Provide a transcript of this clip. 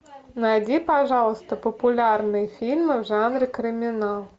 найди пожалуйста популярные фильмы в жанре криминал